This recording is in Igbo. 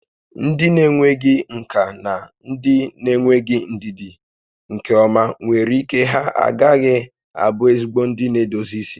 Ndị na-enweghị nkà na ndị na-enweghị ndidi nke ọma nwere ike ha agaghị abụ ezigbo ndị na-edozi isi